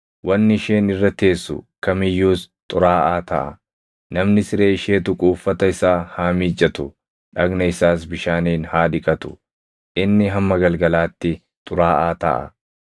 Namni siree ishee tuqu uffata isaa haa miiccatu; dhagna isaas bishaaniin haa dhiqatu; inni hamma galgalaatti xuraaʼaa taʼa.